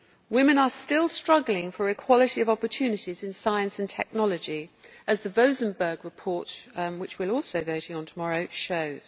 Women are still struggling for equality of opportunities in science and technology, as the Vozemberg report which we will also be voting on tomorrow shows.